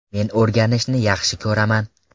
Men o‘rganishni yaxshi ko‘raman.